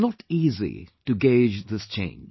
It is not easy to gauge this change